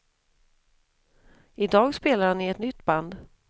I dag spelar han i ett nytt band.